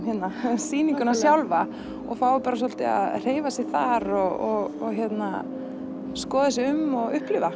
hérna sýninguna sjálfa og fái svolítið að hreyfa sig þar og skoða sig um og upplifa